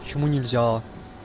почему не взяла